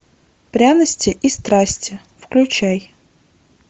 пряности и страсти включай